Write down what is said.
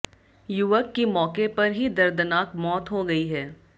युवक की मौके पर ही दर्दनाक मौत हो गई है